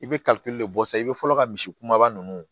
I bɛ kalite de bɔ sisan i bɛ fɔlɔ ka misi kumaba ninnu